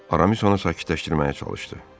Aramis onu sakitləşdirməyə çalışdı.